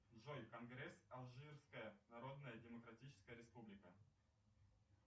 джой конгресс алжирская народная демократическая республика